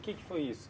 que que foi isso?